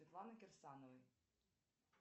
светланы кирсановой